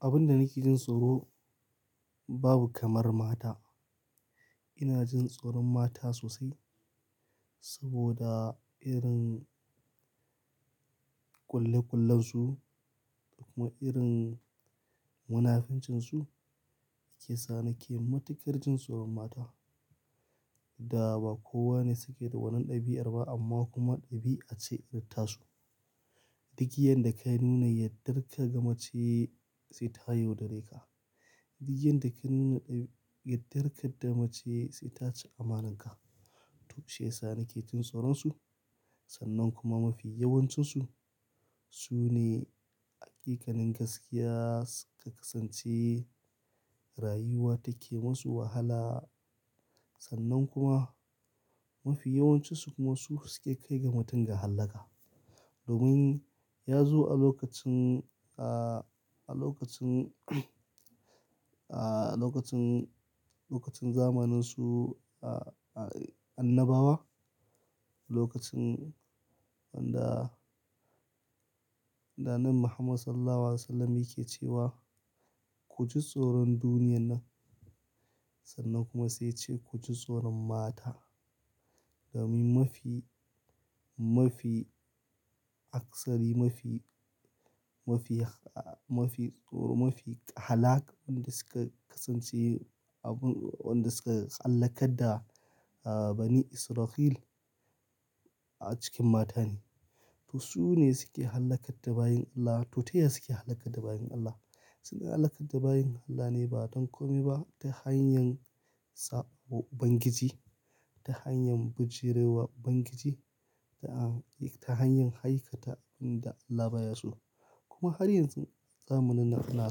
Abin da nake jin tsoro babu kamar mata. Ina jin tsoron mata sosai saboda irin ƙulle ƙullen su kuma irin munafincin su ke sa nake matukar jin tsoron mata. Da ba kowa ne suke da wannan ɗabi'ar ba amma kuma ɗabi'a ce irin ta su. Dig yanda da ka nuna yardarka ga mace sai ta yodare ka. Dig yanda da ka nuna yardarka da mace sai ta ci amananka. To shi ya sa nake jin tsoron su. Sannan kuma mafi yawancinsu su ne hakikanin gaskiya suka kasance rayuwa take masu wahala. Sannan kuma mafi yawancinsu kuma su suke kai ga mutum ga hallaka. Domin ya zo a lokacin, a lokacin, a lokacin, lokacin zamaninsu a, annabawa. Lokacin wanda, da Annabi Muhammad Sallallahu Alaihi Wasallam yake cewa "Ku ji tsoron duniyar nan sannan kuma sai yace ku ji tsoron mata." Domin mafi, mafi aksari mafi, mafi, mafi tsoro mafi halaƙ wanda suka kasance abun, wanda suka hallaka da Bani Isra'il a cikin mata ne. To su ne suke hallakar da bayin Allah, to ta ya suke hallaka da bayin Allah. Suna hallaka da bayin Allah ne ba don kome ba ta hanyar saɓo Ubangiji, ta hanyar bijire wa Ubangiji da ta hanyar haikata wanda Allah baya so. Kuma har yanzu zamanin nan ana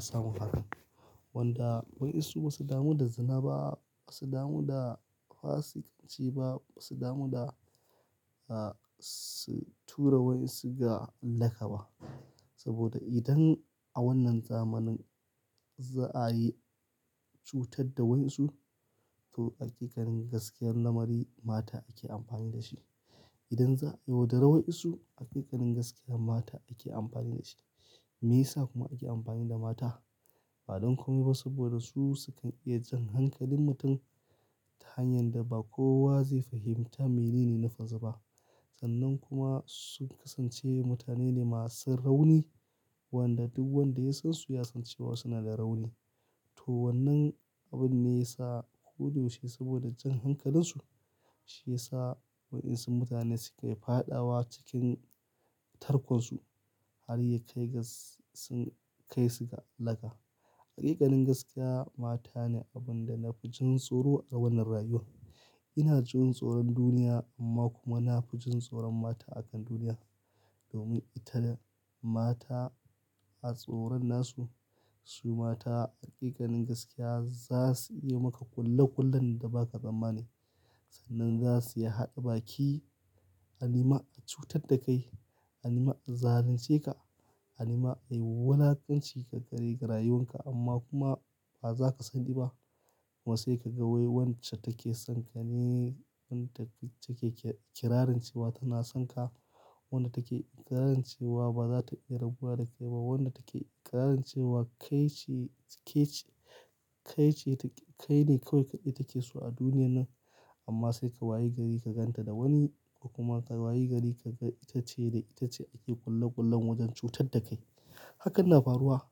samu hakan. Wanda wayansu ba su damu da zina ba, ba su damu da fasikanci ba, ba su damu da, ah, su tura wai su ga hallaka ba. Saboda idan a wannan zamanin za a yi cutar da wayansu to hakikanin gaskiyar lamari mata ake amfani da shi. Idan za a yodara wayansu hakikanin gaskiyar mata ake amfani da shi. Me yasa kuma ake amfani da mata? Ba don kome ba saboda su su kan iya jan hankalin mutum ta hanyar da ba kowa zai fahimta menene na farze ba. Sannan kuma sun kasance mutane ne masu rauni wanda duk wanda ya san su ya san cewa suna da rauni. To wannan abun ne ya sa ko dayaushe saboda jan hankalinsu shi ya sa wayansu mutane sukayi fadawa cikin tarkonsu har yakai ga sun kai su ga hallaka. Hakikanin gaskiya mata ne abin da na fi jin tsoro a wannan rayuwa. Ina jin tsoron duniya amma kuma na fi jin tsoron mata a kan duniya. Domin ita da mata a tsoron nasu su mata hakikanin gaskiya za su iya maka kulle kullen da ba ka tsammani. Sannan za su iya haɗa baki a nema a cutar da kai, a nema a zalunce ka, a nema a yi walakanci ka gare rayuwan ka amma kuma ba za ka sani ba. Kuma sai ka ga wai wacce take son ka ne wadda take kirarin cewa tana son ka. Wanda take ikirancewa ba za ta iya rabuwa da kai ba. Wanda take ikirancewa kai ce, kai ce, kai ce, kai ne kawai ita ke so a duniyar nan. Amma sai ka wayi gari ka gan ta da wani kuma ka wayi gari ka ga ita ce da ita ce ake kulle kullen wajen cutar da kai. Hakan na faruwa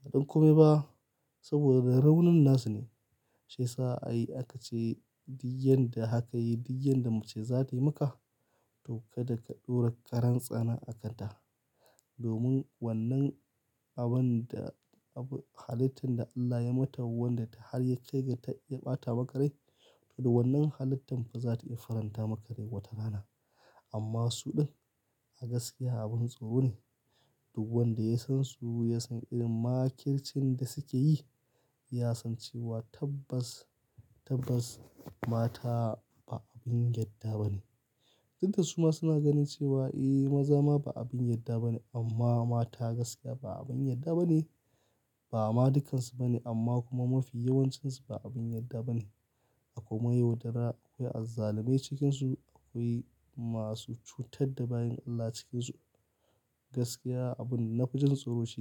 ba don kome ba saboda raunin nasu ne. Shi ya sa ai aka ce dig yanda da haka yi dig yanda da mace za ta yi maka to ka da ka ɗaura karan tsana akanta. Domin wannan abun da, abu, halittun da Allah ya mata wanda har yakai ga ta iya ɓata makarai to da wannan haliittun ba za ta iya faranta makarai wata rana. Amma su ɗin a gaskiya abin tsoro ne. Duk wanda ya san su ya san irin makircin da suke yi ya san cewa tabbas, tabbas mata ba abin yarda ba ne. Duk da su ma suna ganin cewa eh maza ma ba abin yarda ba ne amma mata gaskiya ba abin yarda ba ne. Ba ma dukansu ba ne amma kuma mafi yawancinsu ba abin yarda ba ne. Akwai mayaudara, akwai azzalume cikinsu, akwai masu cutar da bayin Allah cikinsu. Gaskiya abin da na fi jin tsoro shi ne.